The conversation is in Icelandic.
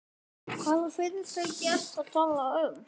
Það er bara gott.